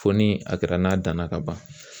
Fo ni a kɛra n'a danna ka ban